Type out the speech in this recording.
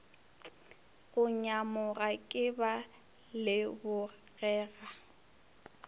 go nyamoga ke ba lebogela